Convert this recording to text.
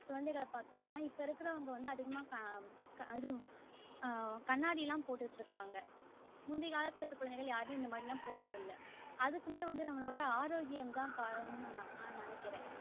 குழந்தைகள்ல பாத்தோம்ன்னா அதிகமா உம் இது ஆஹ் கண்ணாடி எல்லாம் போட்டு கிட்டு இருக்காங்க முந்தி காலத்துல இருக்குற குழந்தைகள் யாருமே இந்த மாறி போட்டது இல்ல அதுக்குமே வந்து நம்மளோட ஆரோக்கியமே காரணம் ன்னு நான் நெனைக்குறேன்